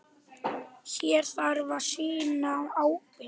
Hér þarf að sýna ábyrgð.